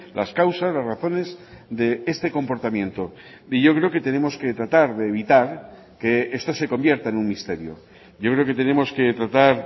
las causas las razones de este comportamiento y yo creo que tenemos que tratar de evitar que esto se convierta en un misterio yo creo que tenemos que tratar